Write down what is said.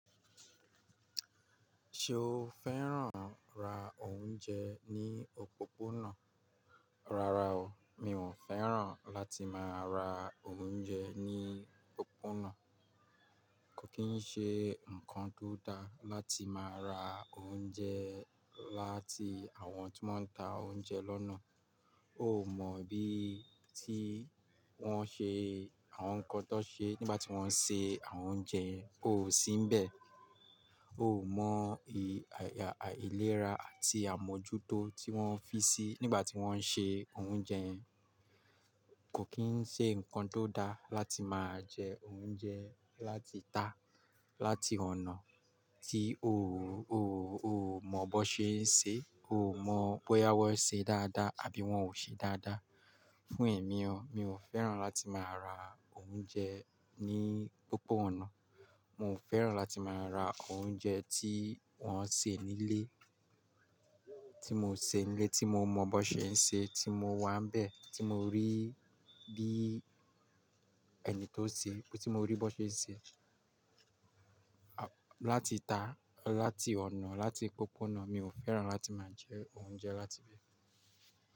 Ṣé o fẹ́ràn ra oúnjẹ ní òpópónà? Rárá o, mi ò fẹ́ràn láti máa ra oúnjẹ ní òpópónà. Kò kí ń ṣe ǹkan tó dá láti máa ra oúnjẹ láti àwọn tí wọ́n ń ta oúnjẹ lọ́nà. Ó mọ̀ bí tí wọ́n ṣe àwọn ǹkan tó ṣe nígbà tí wọ́n ń se àwọn oúnjẹ, ó sì ń bẹ. Ó mọ ìlérà àti àmójútó tí wọ́n fi sí nígbà tí wọ́n ń ṣe oúnjẹ. Kò kí ń ṣe ǹkan tó dá láti máa jẹ oúnjẹ láti tà láti ọ̀nà tí o ò mọ bó ṣe ń se, ò mọ bóyá wọ́n se dáadáa àbí wọ́n ò ṣe dáadáa. Fún èmi o, mi ò fẹ́ràn láti máa ra oúnjẹ ní òpópónà. Mo fẹ́ràn láti máa ra oúnjẹ tí wọ́n ṣe nílé, tí mo ṣe nílé, tí mo mọ bó ṣe ń ṣe, tí mo wà ń bẹ, tí mo rí bí ẹni tó ṣe, tí mo rí bó ṣe ń ṣe. Láti tà, láti ọ̀nà, láti òpópónà, mi ò fẹ́ràn láti máa jẹ oúnjẹ láti ibẹ̀.